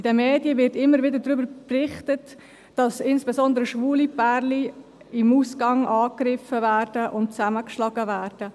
In den Medien wird immer wieder darüber berichtet, dass insbesondere schwule Pärchen im Ausgang angegriffen und zusammengeschlagen werden.